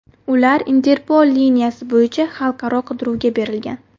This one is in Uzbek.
Ular Interpol liniyasi bo‘yicha xalqaro qidiruvga berilgan.